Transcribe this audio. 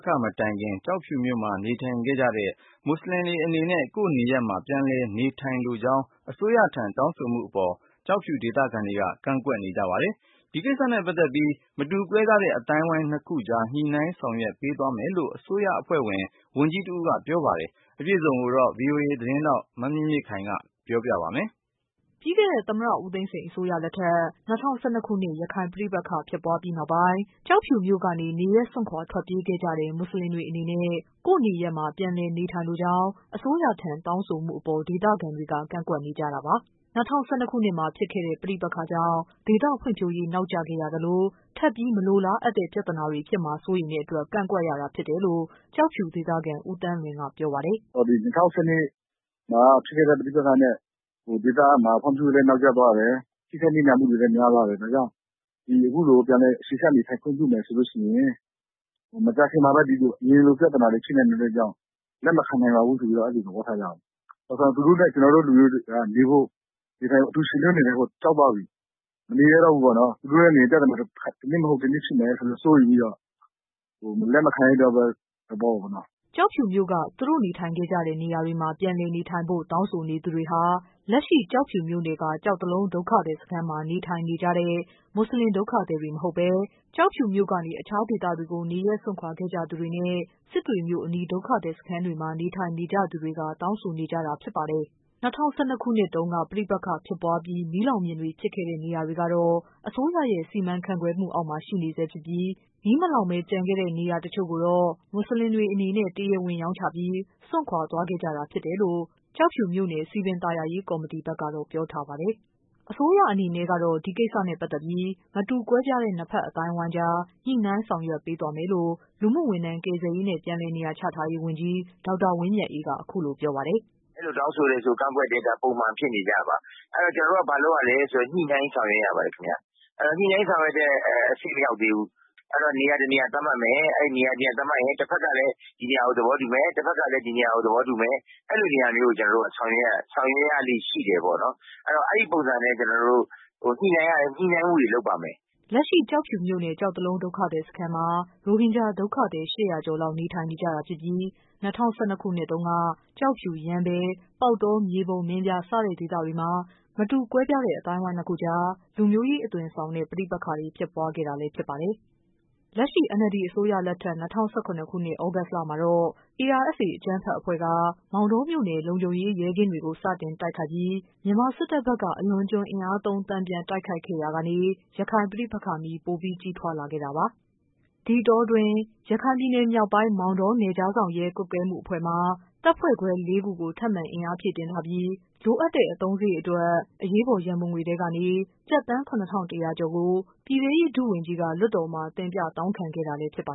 ခ မတိုင်ခင် ကျောက်ဖြူမြို့မှာ နေထိုင်ခဲ့ကြတဲ့ မွတ်ဆလင်တွေအနေနဲ့ ကိုယ့်နေရပ်မှာ ပြန်လည်နေထိုင်လိုကြောင်း အစိုးရထံ တောင်းဆိုမှုအပေါ် ကျောက်ဖြူဒေသခံတွေက ကန့်ကွက်နေကြ ပါတယ်။ ဒီကိစ္စနဲ့ ပတ်သက်ပြီး မတူကွဲပြားတဲ့ အသိုင်းအဝိုင်းနှစ်ခုကြား ညှိနှိုင်းဆောင်ရွက်ပေးသွားမယ် လို့ အစိုးရအဖွဲ့ ဝန်ကြီးတဦးက ပြောပါတယ်။ အပြည့်အစုံကိုတော့ ဗွီအိုအေ မြန်မာပိုင်း သတင်း ထောက် မမြင့်မြင့်ခိုင်က ပြောပြပေးပါမယ်။ ပြီးခဲ့တဲ့ သမ္မတ ဦးသိန်းစိန် အစိုးရလက်ထက် ၂၀၁၂ ရခိုင်ပဋိပက္ခ ဖြစ်ပွားပြီးနောက်ပိုင်း ကျောက်ဖြူမြို့ကနေ နေရပ်စွန့်ခွာခဲ့ကြတဲ့ မွတ်ဆလင်တွေအနေနဲ့ ကိုယ့်နေရပ်မှာ ပြန်လည် နေထိုင်လိုကြောင်း အစိုးရထံ တောင်းဆိုမှုအပေါ် ဒေသခံတွေက ကန့်ကွက်နေကြတာပါ။ ၂၀၁၂မှာဖြစ်ခဲ့တဲ့ ပဋိပက္ခကြောင့် ဒေသဖွံ့ဖြိုးရေး နောက်ကျခဲ့ရသလို ထပ်ပြီးမလိုလားအပ်တဲ့ ပြဿနာ တွေ ဖြစ်လာမှာ စိုးရိမ်တဲ့အတွက် ကန့်ကွက်ရတာဖြစ်တယ်လို့ ကျောက်ဖြူဒေသခံ ဦးသန်းလွင်က ပြော ပါတယ်။ "၂၀၁၂မှာဖြစ်ခဲ့တဲ့ ပဋိပက္ခမှာ ဒေသဖွံ့ဖြိုးရေးတွေ နောက်ကျသွားတယ်။ ထိခိုက်နစ်နာမှုတွေလည်းများသွားတယ်။ ဒါကြောင့် ဒီအခုလို ပြန်လည်နေထိုင်ခွင့်ပြုမယ်ဆိုရင် မကြာခင်မှာ အရင်လိုပြဿနာတွေ ရှိနိုင်တယ်ဆိုတဲ့အတွက်ကြောင့် လက်မခံ နိုင်ပါဘူးဆိုတဲ့သဘောထားကြတာပါ။ သူတို့နဲ့ ကျနော်တို့လူမျိုးတွေကအတူယှဉ်တွဲ နေထိုင်ဖို့ ကြောက်သွားပြီ။ သူတို့နဲ့ နေရင် ပြဿနာက တနည်းမဟုတ်တနည်းဖြစ်မယ် ဆိုတာ စိုးရိမ်ပြီးတော့ လက်မခံတဲ့ သဘောပေါ့နော်။" ကျောက်ဖြူမြို့က သူတို့နေထိုင်ခဲ့ကြတဲ့ နေရာတွေမှာ ပြန်လည်နေထိုင်ဖို့ တောင်းဆိုနေသူတွေ ဟာ လက်ရှိ ကျောက်ဖြူမြို့နယ်က ကျောက်တလုံး ဒုက္ခသည်စခန်းမှာ နေထိုင်နေကြတဲ့ မွတ်ဆလင် ဒုက္ခသည်တွေ မဟုတ်ဘဲ ကျောက်ဖြူမြို့ကနေ အခြားဒေသတွေကို နေရပ် စွန့်ခွာခဲ့ကြသူတွေနဲ့ စစ်တွေ မြို့အနီး ဒုက္ခသည်စခန်းတွေမှာ နေထိုင်နေကြသူတွေ ဖြစ်ပါတယ်။ ၂၀၁၂ ခုနှစ်တုန်းက ပဋိပက္ခဖြစ်ပွားပြီး မီးလောင်ပြင်တွေ ဖြစ်ခဲ့တဲ့ နေရာတွေကတော့ အစိုးရရဲ့ စီမံ ခန့်ခွဲမှုအောက်မှာ ရှိနေဆဲဖြစ်ပြီး မီးမလောင်ပဲ ကျန်ခဲ့တဲ့ နေရာတချို့ကိုတော့ မွတ်ဆလင်တွေ အနေ နဲ့ တရားဝင်ရောင်းချပြီး စွန့်ခွာ သွားခဲ့ကြတာဖြစ်တယ်လို့ ကျောက်ဖြူမြို့နယ် စည်ပင်သာယာရေး ကော်မတီဘက်ကတော့ ပြောထားပါတယ်။ အစိုးရအနေနဲ့ကတော့ ဒီကိစ္စနဲ့ပတ်သက်ပြီး မတူကွဲပြားတဲ့ နှစ်ဖက် အသိုင်းအဝိုင်းကြား ညှိနှိုင်း ဆောင်ရွက်ပေးသွားမယ်လို့ လူမှုဝန်ထမ်း၊ ကယ်ဆယ်ရေးနဲ့ ပြန်လည်နေရာချထားရေး ဝန်ကြီး ဒေါက်တာ ဝင်းမြတ်အေးက အခုလိုပြောပါတယ်။ "အဲလိုတောင်းဆိုရင် ကန့်ကွက်တယ်ဆိုတာက ပုံမှန်ဖြစ်နေကြပါ။ ဆိုတော့ ကျနော်တို့ကဘာလုပ်ရသလဲဆိုရင် ညှိနှိုင်းဆောင်ရွက်ရပါတယ်ခင်ဗျ။ ညှိနှိုင်းဆောင်ရွက်တဲ့ အဆင့်မရောက်သေးဘူး။ အဲဒါနေရာတနေရာသတ်မှတ်မယ်။ အဲဒီ နေရာတနေရာသတ်မှတ်ရင် တဖက်ကလည်း ဒီနေရာကို သဘောတူမယ်။ နောက်တဖက်ကလည်း ဒီနေရာကို သဘောတူမယ် အဲလိုနေရာမျိုးကို ကျနော်တို့က ဆောင်ရွက်ရလေ့ရှိတယ်ပေါ့နော်။ ဆိုတော့ အဲဒီပုံစံနဲ့ ကျနော်တို့ ညှိနှိုင်းမှုတွေ လုပ်ပါမယ်။" လက်ရှိ ကျောက်ဖြူမြို့နယ်က ကျောက်တလုံး ဒုက္ခသည် စခန်းမှာ ရိုဟင်ဂျာ ဒုက္ခသည် ၈၀၀ ကျော်လောက် နေထိုင်နေကြတာဖြစ်ပြီး ၂၀၁၂ ခုနှစ်မှာတုန်းက ကျောက်ဖြူ၊ ရမ်းဗြဲ၊ ပေါက်တော၊ မြေပုံ၊ မင်းပြား စတဲ့ ဒေသတွေမှာ မတူကွဲပြားအသိုင်းအဝိုင်းနှစ်ခုကြား လူမျိုးရေး အသွင်ဆောင်တဲ့ ပဋိပက္ခ တွေ ဖြစ်ပွားခဲ့တာလည်း ဖြစ်ပါတယ်။ လက်ရှိ NLD အစိုးရလက်ထက် ၂၀၁၇ သြဂုတ်လမှာတော့ ARSA အကြမ်းဖက်အဖွဲ့က မောင်တောမြို့နယ် လုံခြုံရေး ရဲကင်းတွေ ကို စတင်တိုက်ခိုက်ပြီး မြန်မာစစ်တပ်ဘက်က အလွန်အကျွံ အင်အားသုံး တန်ပြန်တိုက်ခိုက်ခဲ့ရာကနေ ရခိုင် ပဋိပက္ခမီး ပိုပြီး ကြီးထွားလာခဲ့တာပါ။ ဒီအတောအတွင်း ရခိုင်ပြည်နယ်မြောက်ပိုင်း မောင်တော နယ်ခြားစောင့်ရဲ ကွပ်ကဲမှုအဖွဲ့မှာ တပ်ဖွဲ့ခွဲ လေးခု ထပ်မံအင်အားဖြည့်တင်းထားပြီး လိုအပ်တဲ့ အသုံးစရိတ်အတွက် အရေးပေါ် ရန်ပုံငွေ ထဲကနေ ကျပ်သန်း ၇၁၀၀ကျော်ကို ပြည်ထဲရေး ဒုဝန်ကြီးက လွှတ်တော်မှာ တင်ပြတောင်းခံခဲ့တာ လည်း ဖြစ်ပါ